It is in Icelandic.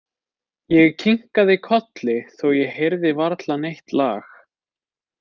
Ég kinkaði kolli þó ég heyrði varla neitt lag.